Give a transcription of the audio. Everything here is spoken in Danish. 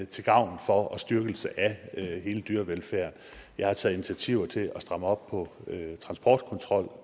til gavn for og styrkelse af hele dyrevelfærden jeg har taget initiativer til at stramme op på transportkontrol